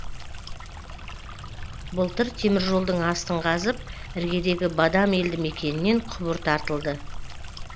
былтыр теміржолдың астын қазып іргедегі бадам елді мекенінен құбыр тартылды